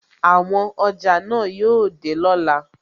Àwọn ọjà náà yóò dé lọ́la.